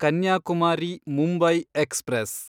Kanyakumari Mumbai express